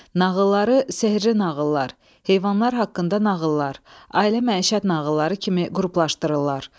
Nağılları sehrli nağıllar, heyvanlar haqqında nağıllar, ailə məişət nağılları kimi qruplaşdırırlar.